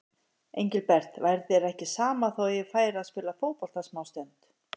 Engilbert, væri þér ekki sama þó ég færi og spilaði fótbolta smástund.